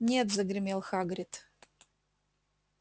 нет загремел хагрид